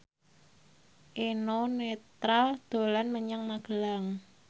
Eno Netral dolan menyang Magelang